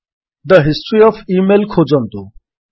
the history of email ଖୋଜନ୍ତୁ